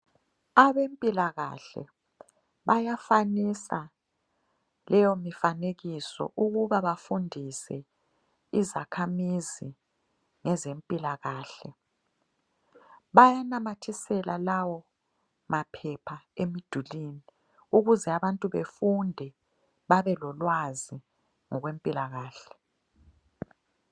Abempilakahle bayafanisa leyomifanekiso ukuba bafundise izakhamizi ngezempilakahle. Bayanamathisela lawomaphepha emidulini ukuze abantu befunde babelolwazi ngokwempilakahle.